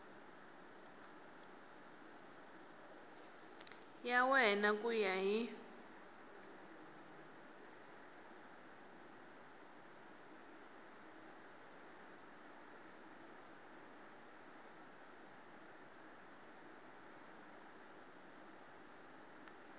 ya wena ku ya hi